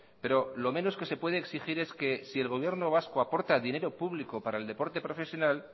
pero lo menos que se puede exigir es que si el gobierno vasco aporta dinero público para el deporte profesional